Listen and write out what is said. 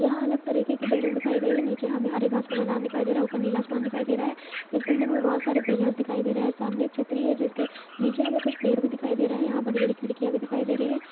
यहाँ अलग तरीके की बिल्डिंग दिखाई गई है| नीचे हमें हरे घांस का मैदान दिखाई दे रहा है| ऊपर नीला आसमान दिखाई दे रहा है| इस बिल्डिंग में बहुत सारे पिलर्स दिखाई दे रहे हैं| सामने एक छतरी है जिसके नीचे हमें कुछ पेड़ भी दिखाई दे रहे हैं| यहाँ बड़ी-बड़ी खिड़कियां भी दिखाई दे रही हैं।